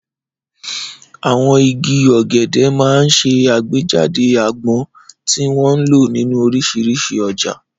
Àwọn igi ọ̀gẹ̀dẹ̀ máa ń ṣe àgbéjáde àgbọn, tí wọ́n ń lò nínú oríṣiríṣi ọjà.